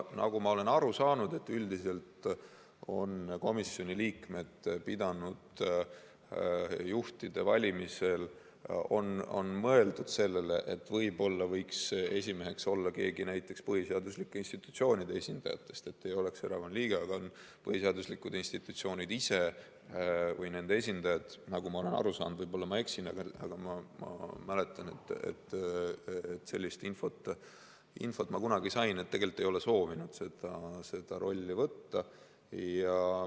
Nagu ma olen aru saanud, üldiselt on komisjoni juhtide valimisel mõeldud sellele, et võib-olla võiks esimeheks olla keegi näiteks põhiseaduslike institutsioonide esindajatest, kes ei oleks erakonna liige, aga põhiseaduslikud institutsioonid ise või nende esindajad, nagu ma olen aru saanud – võib-olla ma eksin, aga ma mäletan, et sellist infot ma kunagi sain –, tegelikult ei ole soovinud seda rolli võtta.